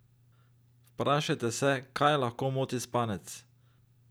Vprašajte se, kaj lahko moti spanec?